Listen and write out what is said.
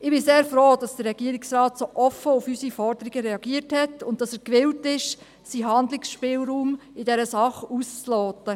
Ich bin sehr froh, dass der Regierungsrat so offen auf unsere Forderungen reagiert hat und gewillt ist, seinen Handlungsspielraum in dieser Sache auszuloten.